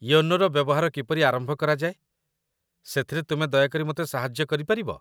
ୟୋନୋର ବ୍ୟବହାର କିପରି ଆରମ୍ଭ କରାଯାଏ, ସେଥିରେ ତୁମେ ଦୟାକରି ମୋତେ ସାହାଯ୍ୟ କରିପାରିବ ?